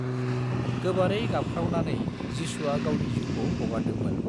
गोबारै गाबख्राव नानै, जिसुआ गावनि जिउखौ हगारदों मोन